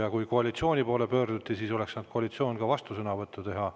Ja kuna koalitsiooni poole pöörduti, siis oleks saanud koalitsioon ka vastusõnavõtu teha.